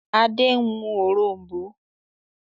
Adé ń mú òrom̀bó.